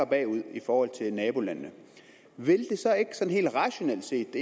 bagud i forhold til nabolandene vil det så ikke sådan helt rationelt set det